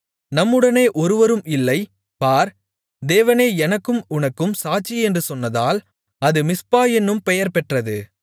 நம்முடனே ஒருவரும் இல்லை பார் தேவனே எனக்கும் உனக்கும் சாட்சி என்று சொன்னதால் அது மிஸ்பா என்னும் பெயர்பெற்றது